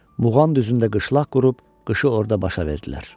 Muğan düzündə qışlaq qurub qışı orda başa vurdular.